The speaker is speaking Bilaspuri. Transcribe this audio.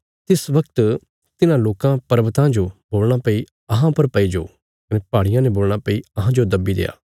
तिस बगत तिन्हां लोकां पर्वतां जो बोलणा भई अहां पर पईजो कने पहाड़ियां ने बोलणा भई अहांजो दब्बी देआ